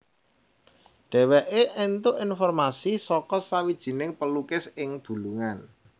Dheweke entuk informasi saka sawijining pelukis ing Bulungan